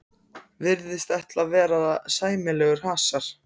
Virðist ætla að verða sæmilegur hasar.